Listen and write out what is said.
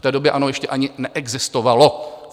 V té době ANO ještě ani neexistovalo.